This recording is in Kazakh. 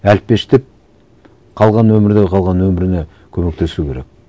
әлпештеп қалған өмірдегі қалған өміріне көмектесу керек